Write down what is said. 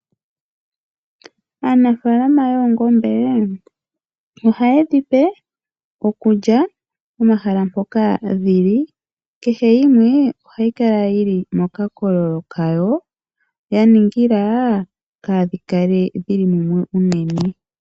Aanafaalama yoongombe ohaye dhipe okulya pomahala mpoka dhili kehe yimwe ohayi kala yili mokakololo kayo ya ningila kaadhikale dhili mumwe unene.